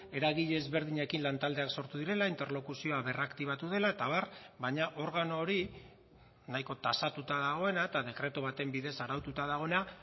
eragile ezberdinekin lan taldeak sortu direla interlokuzioa berraktibatu dela eta abar baina organo hori nahiko tasatuta dagoena eta dekretu baten bidez araututa dagoena